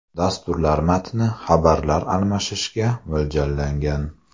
Dasturlar matnli xabarlar almashishga mo‘ljallangan.